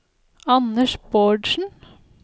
Anders Bårdsen